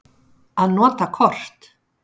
Að nota kort.